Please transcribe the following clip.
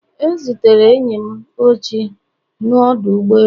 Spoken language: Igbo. E zutere enyi m ochie n'ọdụ ụgbọ elu